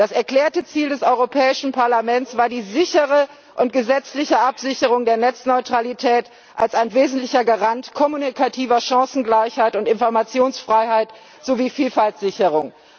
Das erklärte Ziel des Europäischen Parlaments war die sichere und gesetzliche Absicherung der Netzneutralität als wesentlicher Garant von kommunikativer Chancengleichheit und Informationsfreiheit sowie Vielfaltsicherung.